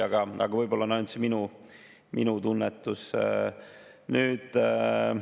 Auväärt minister, kas selle eelnõu esitamine on Reformierakonna tegelik vaba tahe või on see ka koalitsioonipartnerite väljapressitud?